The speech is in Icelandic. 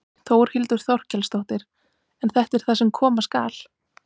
Þórhildur Þorkelsdóttir: En þetta er það sem koma skal?